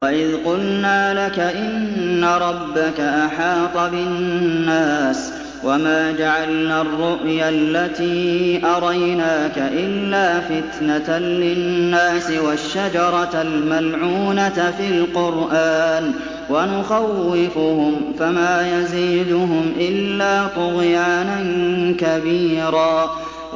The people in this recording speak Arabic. وَإِذْ قُلْنَا لَكَ إِنَّ رَبَّكَ أَحَاطَ بِالنَّاسِ ۚ وَمَا جَعَلْنَا الرُّؤْيَا الَّتِي أَرَيْنَاكَ إِلَّا فِتْنَةً لِّلنَّاسِ وَالشَّجَرَةَ الْمَلْعُونَةَ فِي الْقُرْآنِ ۚ وَنُخَوِّفُهُمْ فَمَا يَزِيدُهُمْ إِلَّا طُغْيَانًا كَبِيرًا